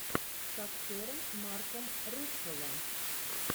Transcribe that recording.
с актером марком руффало